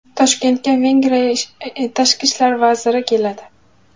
Toshkentga Vengriya tashqi ishlar vaziri keladi.